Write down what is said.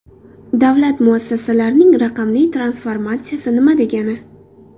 Davlat muassasalarining raqamli transformatsiyasi nima degani?